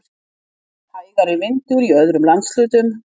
Hægari vindur í öðrum landshlutum